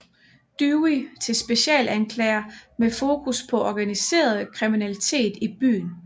Dewey til specialanklager med fokus på organiseret kriminalitet i byen